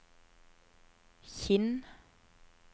Kinn